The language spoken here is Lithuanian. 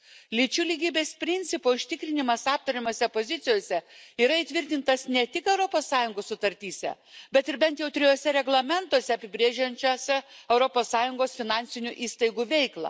Lyčių lygybės principo užtikrinimas aptariamose pozicijose yra įtvirtintas ne tik Europos Sąjungos sutartyse, bet ir bent jau trijuose reglamentuose, apibrėžiančiuose Europos Sąjungos finansinių įstaigų veiklą.